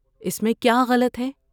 اس میں کیا غلط ہے؟